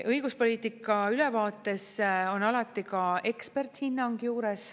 Õiguspoliitika ülevaates on alati ka eksperthinnang juures.